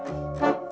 það